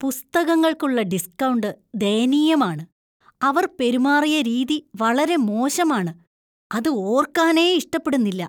പുസ്തകങ്ങൾക്കുള്ള discount ദയനീയമാണ്, അവർ പെരുമാറിയ രീതി വളരെ മോശമാണ്. അത് ഓര്‍ക്കാനേ ഇഷ്ടപ്പെടുന്നില്ല.